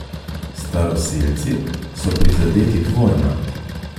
Staroselci so prizadeti dvojno.